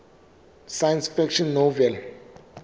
science fiction novel